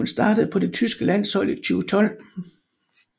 Hun startede på det tyske landshold i 2012